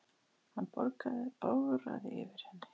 Hann bograði yfir henni.